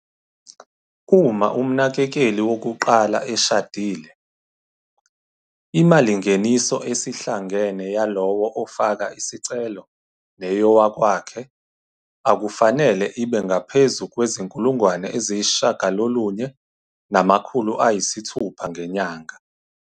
Uma umnakekeli wokuqala eshadile, imalingeniso esihlangene yaloyo ofaka isicelo neyowakwakhe akufanele ibe ngaphezu kwezi-R9 600 ngenyanga.